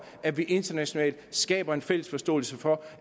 at vi internationalt skaber en fælles forståelse for